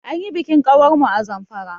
Anyi bikin ƙawar mu a Zamfara.